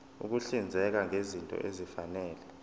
ukuhlinzeka ngezinto ezifanele